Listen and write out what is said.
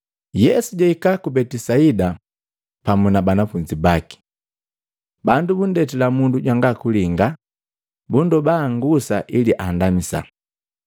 Yesu jahika ku Betisaida pamu na banafunzi baki. Bandu bundetila mundu jwanga kulinga, bundoba angusa ili andamisa.